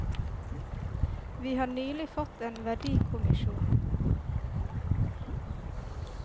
Vi har nylig fått en verdikommisjon.